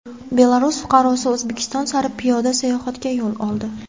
Belarus fuqarosi O‘zbekiston sari piyoda sayohatga yo‘l oldi.